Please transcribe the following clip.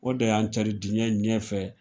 O de y'an cari diɲɛ ɲɛfɛ